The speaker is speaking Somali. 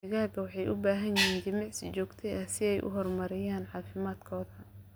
Digaagga waxay u baahan yihiin jimicsi joogto ah si ay u horumariyaan caafimaadkooda.